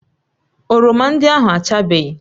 Oroma ndị ahụ achabeghị